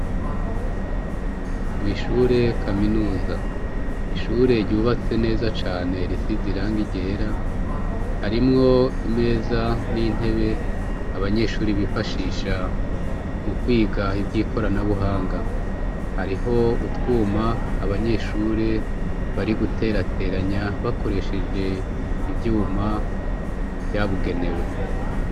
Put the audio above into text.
Mw'ishure kaminusa ishure ryubatse neza cane risiz iranga ryera harimwo imeza n'intebe abanyeshuri bifashisha mu kwiga ivyo ikoranabuhanga hariho utwuma abanyeshure barigutera gateranya bakoresheje ivyuma vyabugenewe.